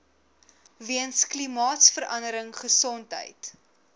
weens klimaatsverandering gesondheid